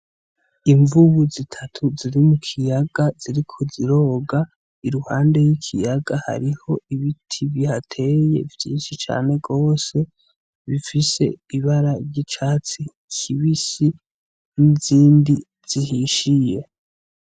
Imvubu zitatu ziri mu kiyaga ziriko ziroga i ruhande y'ikiyaga hariho ibiti bihateye vyinshi cane rwose bifise ibara ryicatsi kibisi n'izindi zihishiye.